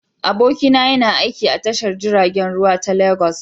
Abokina yana aiki a tashar jiragen ruwa ta Legas.